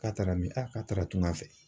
K'a taara min? A k'a taara tunga fɛ.